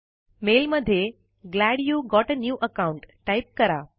mail मध्ये glad you got a new account type करा